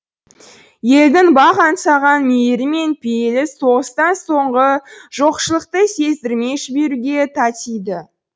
елдің бақ аңсаған мейірі мен пейілі соғыстан соңғы жоқшылықты сездірмей жіберуге татиды